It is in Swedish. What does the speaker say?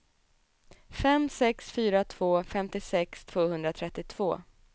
fem sex fyra två femtiosex tvåhundratrettiotvå